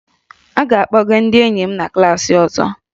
A ga-akpọga ndị enyi m na klaasị ọzọ